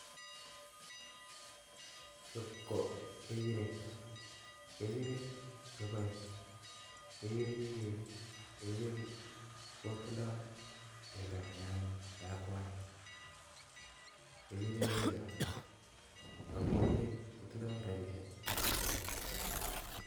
Chu ko kechirek, kechirek keboe, kechirek kotindo bendo neakwai, kechirek ko kerichot ak kechirek kotindo rabinik ingealdaa